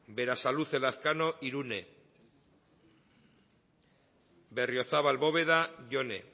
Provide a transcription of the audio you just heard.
berasaluze lazkano irune berriozabal bóveda jone